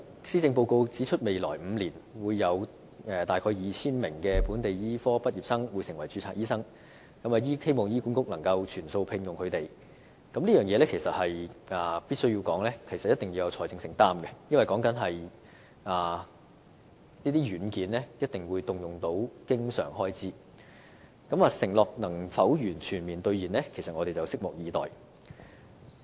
施政報告指出未來5年會有大約 2,000 名本地醫科畢業生成為註冊醫生，如要醫管局全數聘用他們，政府必須有一定的財政承擔，因為這些軟件一定須動用經常開支，承諾能否全面兌現，我們拭目以待。